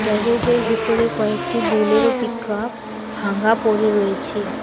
গ্যারেজের কয়েকটি Bolero pickup ভাঙ্গা পড়ে রয়েছে।